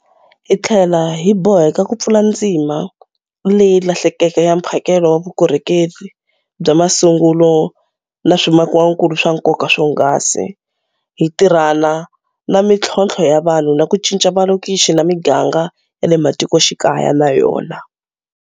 Hi tlhela hi boheka ku pfula ndzima leyi lahlekeke ya mphakelo wa vukorhokeri bya masungulo na swimakiwakulu swa nkoka swonghasi, hi tirhana na mitlhontlho ya vanhu na ku cinca malokixi na miganga ya le matikoxikaya na yona.